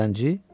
Zəngi?